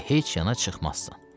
Və heç yana çıxmazsan.